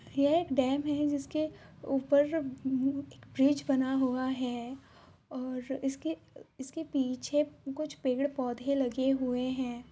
यह एक डैम है जिसके ऊपर एक ब्रिज बना हुआ है और इसके इसके पीछे कुछ पेड़ पौधे लगे हुए है।